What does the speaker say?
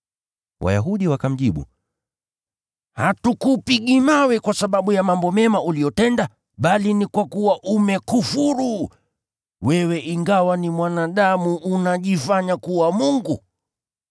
Wayahudi wakamjibu, “Hatukupigi mawe kwa sababu ya mambo mema uliyotenda, bali ni kwa kuwa umekufuru. Wewe ingawa ni mwanadamu unajifanya kuwa Mungu.”